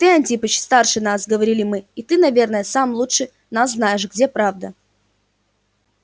ты антипыч старше нас говорили мы и ты наверно сам лучше нас знаешь где правда